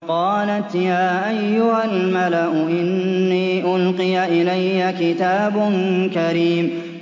قَالَتْ يَا أَيُّهَا الْمَلَأُ إِنِّي أُلْقِيَ إِلَيَّ كِتَابٌ كَرِيمٌ